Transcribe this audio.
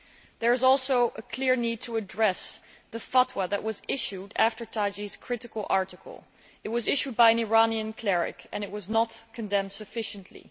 There is also a clear need to address the fatwa that was issued after Tagi's critical article. It was issued by an Iranian cleric and it was not condemned sufficiently.